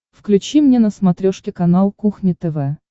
включи мне на смотрешке канал кухня тв